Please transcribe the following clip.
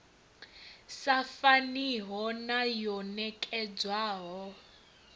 sa faniho na yo nekedzwaho